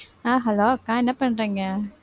ஆஹ் hello அக்கா என்ன பண்றீங்க